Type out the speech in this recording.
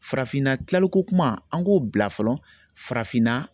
Farafinna kilalikokuma an k'o bila fɔlɔ farafinna